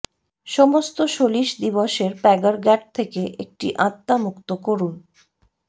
সমস্ত সলিস দিবসের প্যাগারগ্যাট থেকে একটি আত্মা মুক্ত করুন